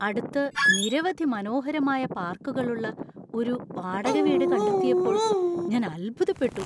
അടുത്ത് നിരവധി മനോഹരമായ പാർക്കുകളുള്ള ഒരു ഒരു വാടക വീട് കണ്ടെത്തിയപ്പോൾ ഞാൻ അത്ഭുതപ്പെട്ടു.